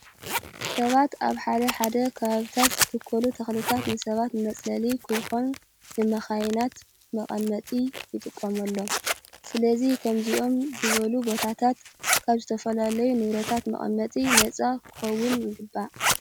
ሰባት ኣብ ሓደ ሓደ ከባቢታት ዝትከሉ ተክልታት ንሰባት ንመፅለሊ ከይኾኑ ንመካይናት መቀመጢ ይጥቀምሎም። ስለዚ ከምዚኦም ዝበሉ ቦታታት ካብ ዝተፈላለዩ ንብረታት መቀመጢ ነፃ ክኸውን ይግባእ።